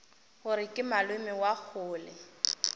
gore ke malome wa kgole